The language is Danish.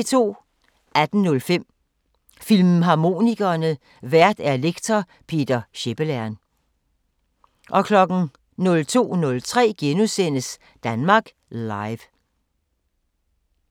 18:05: Filmharmonikerne: Vært lektor Peter Schepelern 02:03: Danmark Live *